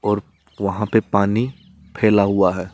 और वहां पे पानी फैला हुआ है।